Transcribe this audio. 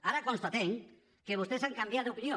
ara constatem que vostès han canviat d’opinió